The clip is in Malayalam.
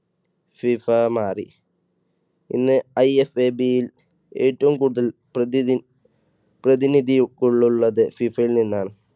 ഫിഫ മാറി. ഇന്ന് IFAB ൽ ഏറ്റവും കൂടുതൽ പ്രതിനി പ്രതിനിധി ഉള്ള~ള്ളത് ഫിഫയിൽ നിന്നാണ്